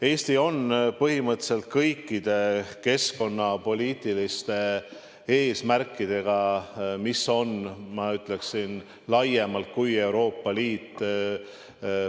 Eesti on põhimõtteliselt läinud kaasa kõikide keskkonnapoliitiliste eesmärkidega, mis on, ma ütleksin, olnud ka laiemad kui Euroopa Liidu eesmärgid.